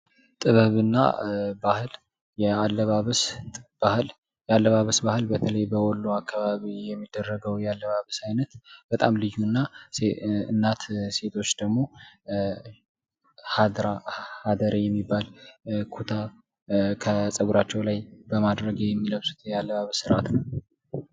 ጥበብ እና ባህል የአለባበስ ባህል የአለባበስ ባህል በተለይ በወሎ አካባቢ የሚደረገዉ የአለባበስ አይነት በጣም ልዩ እና በተለይ እናቶች ደግሞ ሀደሬ የሚባል ኩታ በፀገለራቸዉ ላይ የሚያደርጉት የአለባበስ አይነት ነዉ።